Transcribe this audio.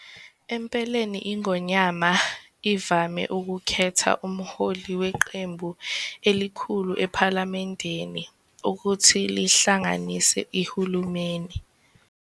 Empeleni iNgonyama ivame ukukhetha umholi weqembu elikhulu ePhalamendini ukuthi lihlanganise iHulumeni.